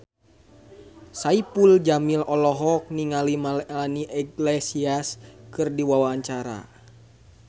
Saipul Jamil olohok ningali Melanie Iglesias keur diwawancara